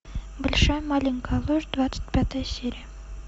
большая маленькая ложь двадцать пятая серия